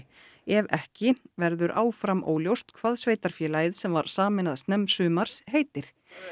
ef ekki verður áfram óljóst hvað sveitarfélagið sem var sameinað snemmsumars heitir